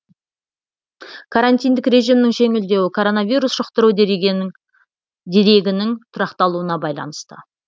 карантиндік режимнің жеңілдеуі коронавирус жұқтыру дерегінің тұрақталуына байланысты